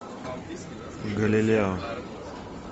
галилео